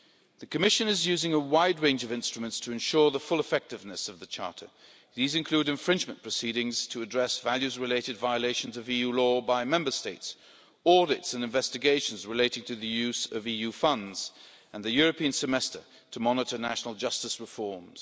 The Commission is using a wide range of instruments to ensure the full effectiveness of the Charter. These include infringement proceedings to address values related violations of EU law by Member States, audits and investigations relating to the use of EU funds, and the European Semester to monitor national justice reforms.